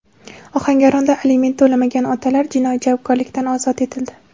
Ohangaronda aliment to‘lamagan otalar jinoiy javobgarlikdan ozod etildi.